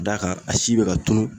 Ka d'a kan a si be ka tunun